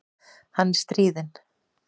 Hann er stríðinn.